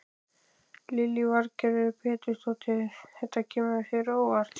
Lillý Valgerður Pétursdóttir: Þetta kemur þér á óvart?